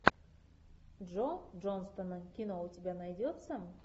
джо джонстона кино у тебя найдется